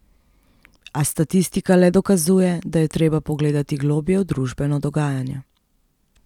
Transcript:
A statistika le dokazuje, da je treba pogledati globlje v družbeno dogajanje.